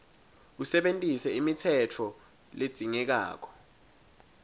usebentise imitsetfo ledzingekako